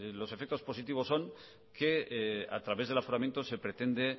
los efectos positivos son que a través del aforamiento se pretende